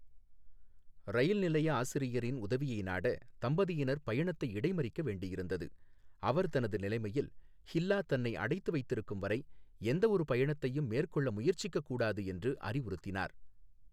ரயில் நிலைய ஆசிரியரின் உதவியை நாட தம்பதியினர் பயணத்தை இடைமறிக்க வேண்டியிருந்தது, அவர் தனது நிலைமையில், ஹில்லா தன்னை அடைத்து வைத்திருக்கும்வரை எந்தவொரு பயணத்தையும் மேற்கொள்ள முயற்சிக்கக் கூடாது என்று அறிவுறுத்தினார்.